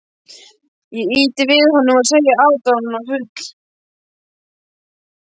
Ég ýti við honum og segi aðdáunarfull.